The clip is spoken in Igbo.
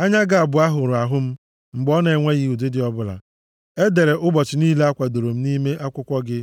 Anya gị abụọ hụrụ ahụ m mgbe ọ na-enweghị ụdịdị ọbụla. E dere ụbọchị niile a kwadoro m nʼime akwụkwọ gị